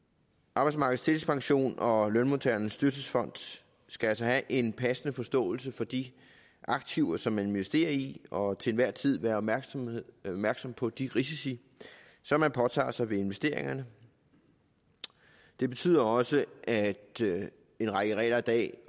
arbejdsmarkedets tillægspension og lønmodtagernes dyrtidsfond skal altså have en passende forståelse for de aktiver som investere i og til enhver tid være opmærksom opmærksom på de risici som man påtager sig ved investeringerne det betyder også at en række regler i dag i